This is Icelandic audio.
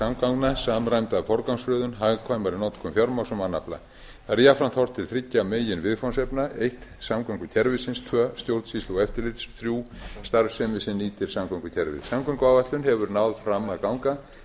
samgangna samræmda forgangsröðun hagkvæmari notkun fjármagns og mannafla þar er jafnframt horft til þriggja meginviðfangsefna fyrstu samgöngukerfisins aðra stjórnsýslu og eftirlits þriðja starfsemi sem nýtir samgöngukerfið samgönguáætlun hefur náð fram að ganga en